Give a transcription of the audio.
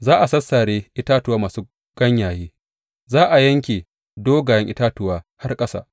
Za a sassare itatuwa masu ganyaye, za a yanke dogayen itatuwa har ƙasa.